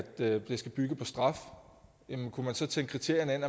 det skal bygge på straf jamen kunne man så tænke kriterierne ind